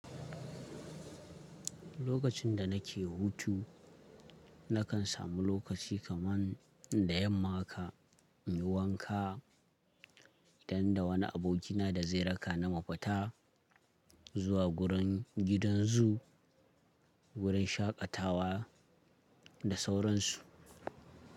Lokacin da nake hutu, na kan samu lokaci kaman da yamma haka, in yi wanka, idan da wani abokina da zai raka ni mu fita zuwa gurin gidan zoo, wurin shaƙatawa da sauran su.